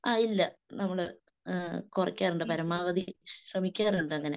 ആഹ് ഇല്ല നമ്മള് കുറക്കാറുണ്ട് പരമാവധി ശ്രമിക്കാറുണ്ട് അങ്ങനെ